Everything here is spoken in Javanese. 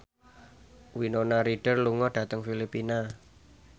Winona Ryder lunga dhateng Filipina